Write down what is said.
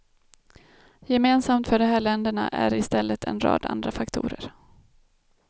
Gemensamt för de här länderna är i stället en rad andra faktorer.